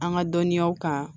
An ka dɔnniyaw kan